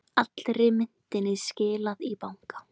Allri myntinni skilað í banka